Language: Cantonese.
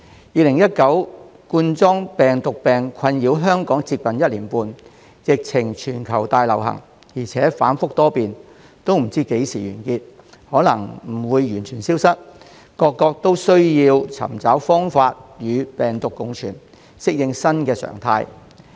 2019冠狀病毒病困擾香港接近一年半，疫情全球大流行，而且反覆多變，不知道何時完結，也有可能不會完全消失，各國都要尋求方法與病毒共存，適應新常態。